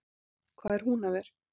Hvað er Húnaver?